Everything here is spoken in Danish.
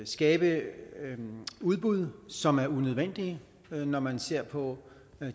skabe udbud som er unødvendige når man ser på